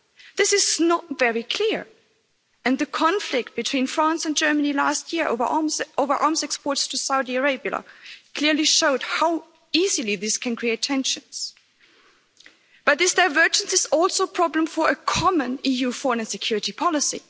This is not very clear. And the conflict between France and Germany last year over arms exports to Saudi Arabia clearly showed how easily this can create tensions. But this divergence is also a problem for a common EU foreign and security policy.